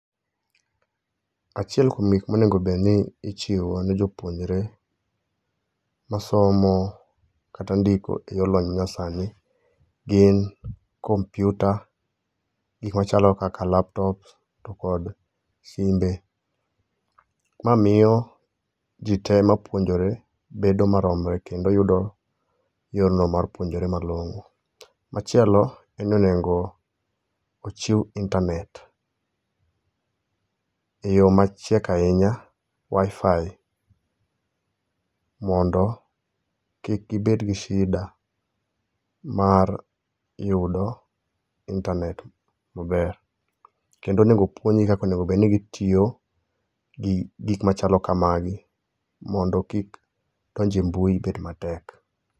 Achiel kuom gik monego bed ni ichiwo ne jopuonjre masomo kata ndiko e yo lony manyasani gin kompiuta, gikmachalo kaka laptops to kod simbe. Ma miyo jite ma puonjore bedo maromre kendo yudo yono mar puonjre malong'o. Machielo en ni onego ochiw intanet, e yo machiek ahinya Wifi mondo kik gibed gi shida mar yudo intanet maber. kendo oneg puonjgi kaka onego bed nigi tiyo gi gikmachalo kamagi mondo kik donjo e mbui bed matek.